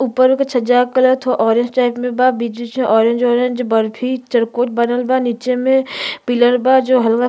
उपरो के छज्जा कलर थो ऑरेंज टाइप में बा बीच-बीच में ऑरेंज -ऑरेंज बर्फी चरकोट बनल बा नीचे में । पिलर बा जो हलवा --